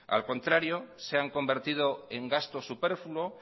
al contrario se han convertido en gastos superfluos